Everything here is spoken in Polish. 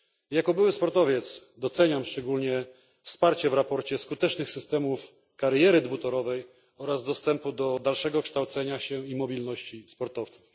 Jako były sportowiec doceniam szczególnie poparcie w sprawozdaniu skutecznych systemów kariery dwutorowej oraz dostępu do dalszego kształcenia się i mobilności dla sportowców.